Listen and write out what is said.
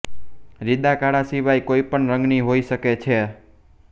રિદા કાળા સિવાય કોઈપણ રંગની હોઈ શકે છે